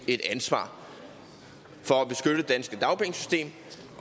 ansvar for